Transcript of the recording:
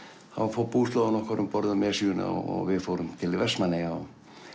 fór búslóðin um borð í Esjuna og við fórum til Vestmannaeyja